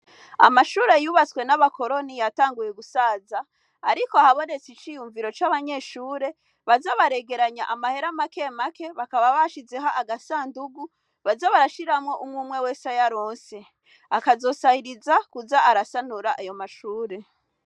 Amashure yubatswe na bakoroni, yatanguye gusaza. Ariko habonetse ivyiyumviro c'abanyeshure baze baregeranya amahera make make , bakaba bashizeho agasandugu baze barashiramwo umw'umwe wese ay'aronse. Akazosahiriza kuza arasanura ayo mashure.